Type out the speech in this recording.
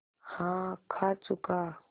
हाँ खा चुका